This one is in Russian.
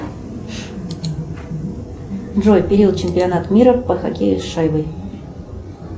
джой период чемпионат мира по хоккею с шайбой